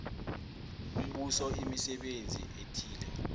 umbuso imisebenzi ethileko